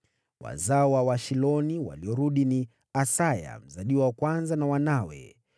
Wazao wa Washiloni waliorudi ni: Asaya mzaliwa wa kwanza na wanawe.